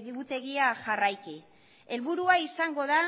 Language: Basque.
egutegia jarraiki helburua izango da